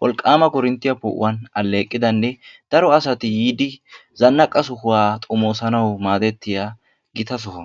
wolqaama korinttiya poo'uwan aleeqidanne daro asati yiidi zanaqqa sohuwa xomoosanawu maadettiya gita soho.